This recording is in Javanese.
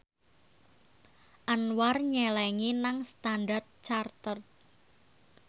Anwar nyelengi nang Standard Chartered